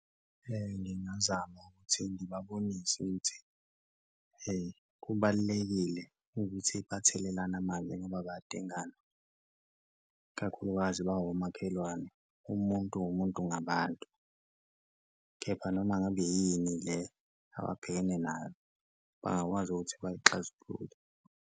Ngingazama ukuthi ngibabonise ukuthi kubalulekile ukuthi bathelelane manzi ngoba bayadingana kakhulukazi bawomakhelwane, umuntu wumuntu ngabantu kepha noma ngabe yini le ababhekene nayo bangakwazi ukuthi bayixazulule.